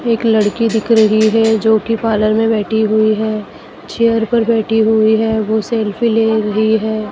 एक लड़की दिख रही है जो की पार्लर में बैठी हुई है चेयर पर बैठी हुई है वो सेल्फी ले रही है।